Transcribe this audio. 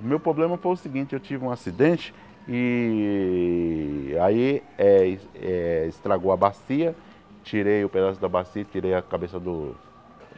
O meu problema foi o seguinte, eu tive um acidente e aí eh eh estragou a bacia, tirei o pedaço da bacia, tirei a cabeça do